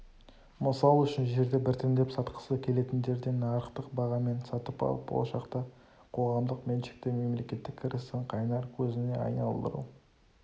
мысал үшін жерді біртіндеп сатқысы келетіндерден нарықтық бағамен сатып алып болашақта қоғамдық меншікті мемлекеттік кірістің қайнар көзіне айналдыру